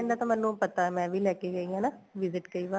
ਮੈਨੂੰ ਪਤਾ ਮੈਂ ਵੀ ਲੈਕੇ ਗਈ ਆ ਨਾ visit ਕਈ ਵਾਰ